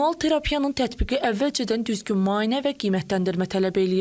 Manual terapiyanın tətbiqi əvvəlcədən düzgün müayinə və qiymətləndirmə tələb eləyir.